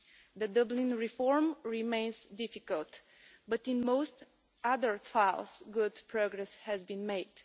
The Dublin reform remains difficult, but in most other files good progress has been made.